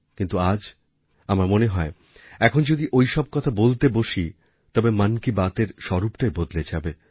কিন্তু আজ আমার মনে হয় এখন যদি ঐসব কথা বলতে বসি তবে মন কি বাতএর স্বরূপটাই বদলে যাবে